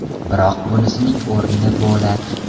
Biroq bunisining o‘rni bo‘lak.